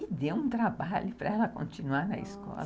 E deu um trabalho para ela continuar na escola.